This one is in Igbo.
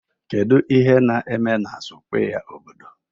kedu ihe na-eme na square obodo?